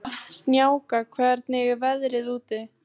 Snjáka, hvernig er veðrið úti?